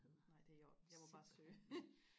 nej det er i orden jeg må bare søge